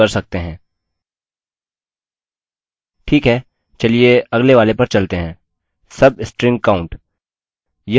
ठीक है चलिए अगले वाले पर चलते हैं